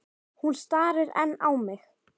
Hún starir enn á mig.